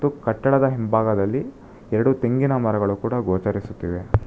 ಕಟ್ಟಡದ ಹಿಂಬಾಗದಲ್ಲಿ ಎರಡು ತೆಂಗಿನಮರಗಳು ಕೂಡ ಗೋಚರಿಸುತ್ತಿವೆ.